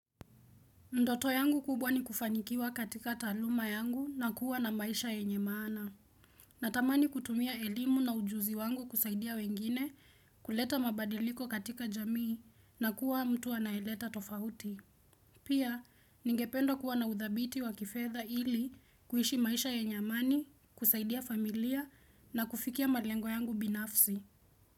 Ndoto yangu kubwa ni kufanikiwa katika taaluma yangu na kuwa na maisha ya yenye maana. Natamani kutumia elimu na ujuzi wangu kusaidia wengine kuleta mabadiliko katika jamii na kuwa mtu anayeleta tofauti. Pia, ningependo kuwa na udhabiti wa kifedha ili kuishi maisha yenye amani, kusaidia familia na kufikia malengo yangu binafsi.